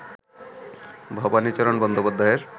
ভবানীচরণ বন্দ্যোপাধ্যায়ের